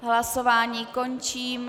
Hlasování končím.